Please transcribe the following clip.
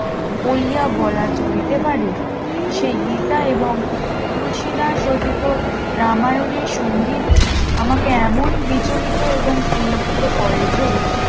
বলিয়া বলা চলিতে পারে সেই গীতা এবং তুলসীদাস রচিত রামাযান এর সংগীত আমাকে এমন বিচলিত এবং পুলকিত করে যে